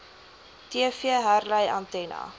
tv herlei antenna